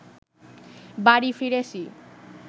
বাড়ি ফিরেছি